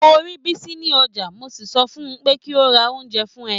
Mo rí Bisi ní ọjà, mo sì sọ fún pé kí ó ra oúnjẹ fún ẹ.